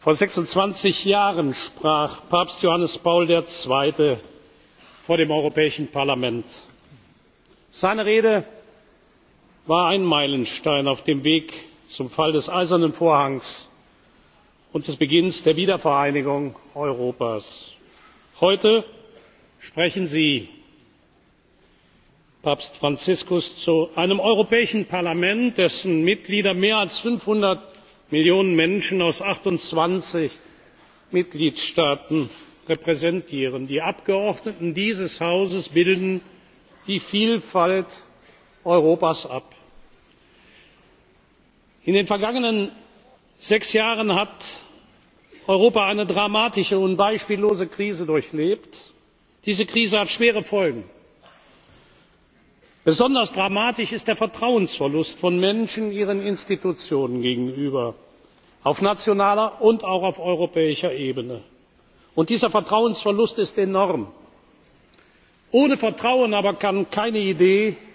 Ihre Heiligkeit Papst Franziskus, sehr geehrte Kolleginnen und Kollegen, meine lieben Gäste, sehr geehrte Damen und Herren! Vor 26 Jahren sprach Papst Johannes Paul II. vor dem Europäischen Parlament. Seine Rede war ein Meilenstein auf dem Weg zum Fall des Eisernen Vorhangs und zum Beginn der Wiedervereinigung Europas. Heute sprechen Sie, Papst Franziskus, zu einem Europäischen Parlament, dessen Mitglieder mehr als 500 Millionen Menschen aus 28 Mitgliedstaaten repräsentieren. Die Abgeordneten dieses Hauses bilden die Vielfalt Europas ab. In den vergangenen sechs Jahren hat Europa eine dramatische und beispiellose Krise durchlebt. Diese Krise hat schwere Folgen. Besonders dramatisch ist der Vertrauensverlust von Menschen ihren Institutionen gegenüber, auf nationaler und auch auf europäischer Ebene. Dieser Vertrauensverlust ist enorm. Ohne Vertrauen aber kann keine